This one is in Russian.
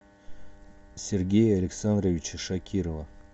сергея александровича шакирова